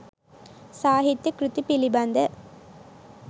සාහිත්‍ය කෘති පිළිබඳ